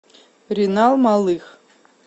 ренал малых